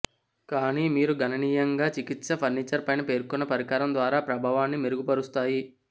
కానీ మీరు గణనీయంగా చికిత్స ఫర్నిచర్ పైన పేర్కొన్న పరికరం ద్వారా ప్రభావాన్ని మెరుగుపరుస్తాయి